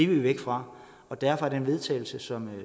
vi væk fra og derfor er den vedtagelse som